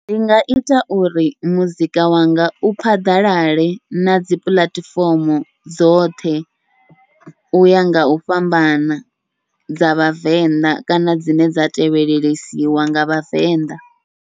Ndi nga ita uri muzika wanga u phaḓalale na dzi puḽatifomo dzoṱhe, uya ngau fhambana dza vhavenḓa kana dzine dza tevhelelesiwa nga vhavenḓa.